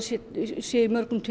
sé í mörgum